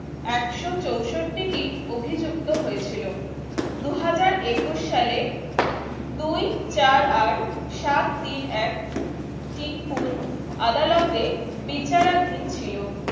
একশ চৌষট্টি অভিযুক্ত হয়েছিল দুহাজার একুশ সালে দুই চার আট সাত তিন এক sick full আদালতে বিচারাধীন ছিল